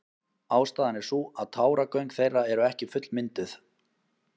Ástæðan er sú að táragöng þeirra eru ekki fullmynduð.